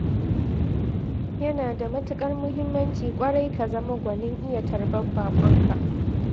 Yana da matuƙar muhimmanci ƙwarai ka zama gwanin iya tarbar baƙonka.